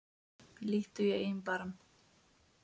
Líttu í eigin barm